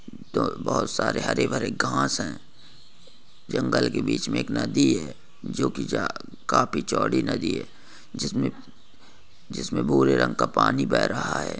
बहुत सारे हरे रंग घांस है जंगल के बीच में एक नदी है जो की जा काफी चौड़ी नदी है जिसमें जिसमें भूरे रंग का पानी बह रहा है।